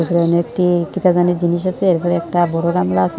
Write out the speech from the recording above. এখানে একটি জিনিস আছে এরপরে একটা বড়ো গামলা আসে ।